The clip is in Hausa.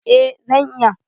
Eh zan iya.